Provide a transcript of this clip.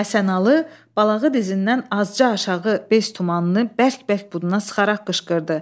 Həsənalı balağı dizindən azca aşağı beş tumanını bərk-bərk buduna sıxaraq qışqırdı.